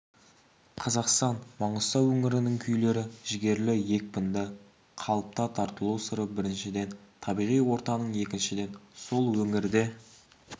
қазақстан маңғыстау өңірінің күйлері жігерлі екпінді қалыпта тартылу сыры біріншіден табиғи ортаның екіншіден сол өңірде